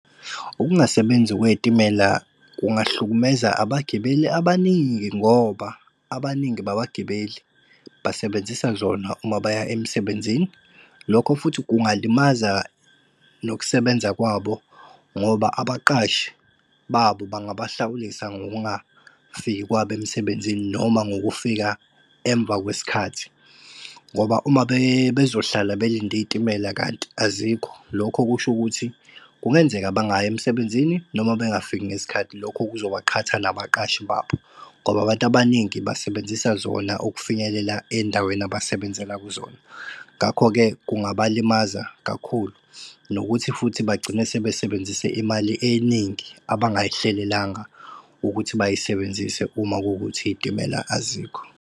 Ukungasebenzi kwey'timela kungahlukumeza abagibeli abaningi ngoba abaningi babagibeli, basebenzisa zona uma baya emsebenzini. Lokho futhi kungalimaza nokusebenza kwabo ngoba abaqashi babo bangabahlawulisa ngokungafiki kwabo emsebenzini noma ngokufika emva kwesikhathi ngoba uma bezohlala belinde iy'timela kanti azikho, lokho kusho ukuthi kungenzeka bangayi emsebenzini noma bengakafiki ngesikhathi. Lokho kuzobaqhatha nabaqashi babo ngoba abantu abaningi basebenzisa zona ukufinyelela endaweni abasebenzela kuzona. Ngakho-ke kungabalimaza kakhulu nokuthi futhi bagcine sebe sebenzise imali eningi abangayihlelelanga ukuthi bayisebenzise uma kuwukuthi izitimela azikho.